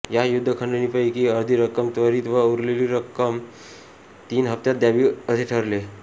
या युद्धखंडणीपैकी अर्धी रक्कम त्वरीत व उरलेली अर्धी रक्कम तीन हप्त्यात द्यावी असे ठरले